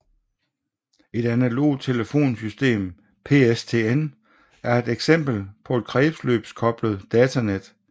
Et analogt telefonsystem PSTN er et eksempel på et kredsløbskoblet datanet